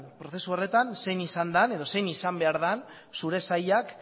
prozesu horretan zein izan den edo zein izan behar den zure sailak